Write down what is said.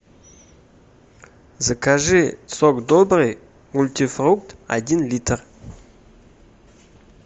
закажи сок добрый мультифрукт один литр